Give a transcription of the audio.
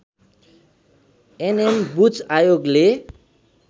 NM Buch आयोगले